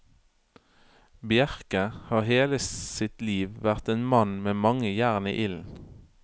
Bjercke har hele sitt liv vært en mann med mange jern i ilden.